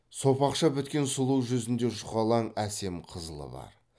сопақша біткен сұлу жүзінде жұқалаң әсем қызылы бар